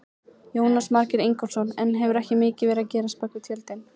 Jónas Margeir Ingólfsson: En hefur ekki mikið verið að gerast á bakvið tjöldin?